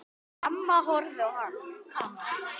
Amma horfði á hana.